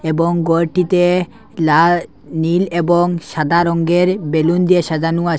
এবং গরটিতে লা নীল এবং সাদা রঙ্গের বেলুন দিয়ে সাজানো আসে।